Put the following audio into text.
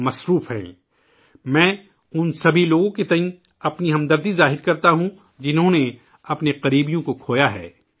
میرے تمام جذبات ، اُن لوگوں کے ساتھ ہیں ، جنہوں نے اپنے قریبی عزیزوں کو کھویا ہے